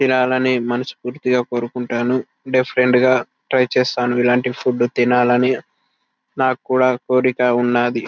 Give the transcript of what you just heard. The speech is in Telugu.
తినాలని మనస్ఫూర్తిగా కోరుకుంటాను. డిఫరెంట్ గా ట్రై చేస్తాను ఇలాంటి ఫుడ్ తినాలని. నాకు కూడా కోరిక ఉన్నాది.